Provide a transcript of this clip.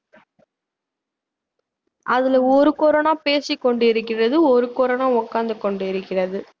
அதுல ஒரு corona பேசிக்கொண்டிருக்கிறது ஒரு corona உட்கார்ந்து கொண்டிருக்கிறது